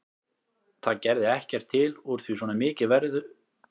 Það gerði ekkert til úr því svona mikið veður var gert af hausnum.